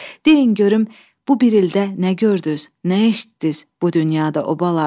deyin görüm bu bir ildə nə gördüz, nə eşitdiz bu dünyada o balalar.